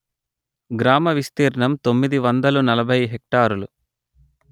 గ్రామ విస్తీర్ణం తొమ్మిది వందలు నలభై హెక్టారులు